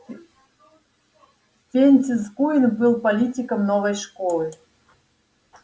фрэнсис куинн был политиком новой школы